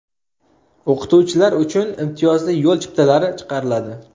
O‘qituvchilar uchun imtiyozli yo‘l chiptalari chiqariladi.